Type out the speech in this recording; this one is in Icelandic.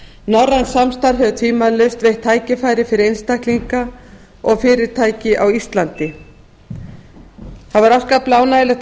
norrænt samstarf hefur tvímælalaust veitt tækifæri fyrir einstaklinga og fyrirtæki á íslandi það var afskaplega ánægjulegt að